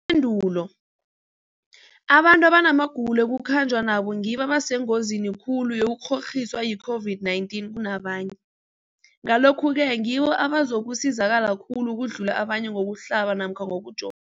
Ipendulo, abantu abanamagulo ekukhanjwa nawo ngibo abasengozini khulu yokukghokghiswa yi-COVID-19 kunabanye, Ngalokhu-ke ngibo abazakusizakala khulu ukudlula abanye ngokuhlaba namkha ngokujo